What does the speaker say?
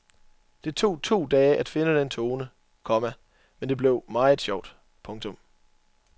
Det tog to dage at finde den tone, komma men det blev meget sjovt. punktum